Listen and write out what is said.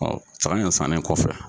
Ɔ saga in sannen kɔfɛ